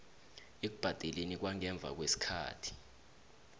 ekubhadeleni kwangemva kwesikhathi